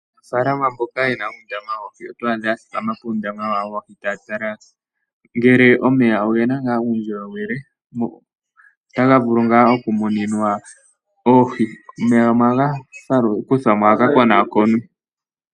Aanafalama mboka yena uundama woohi otwa adha ya thikama puundama wayo woohi. Taya tala ngele omeya ogena ngaa uundjolowele no taga vulu ngaa oku muninwa oohi. Omeya gamwe ohaga kuthwa mo gaka konakonwe.